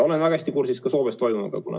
Olen väga hästi kursis ka Soomes toimuvaga.